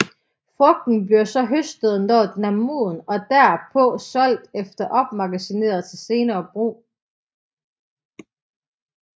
Frugten bliver så høstet når den er moden og derpå solgt eller opmagasineret til senere brug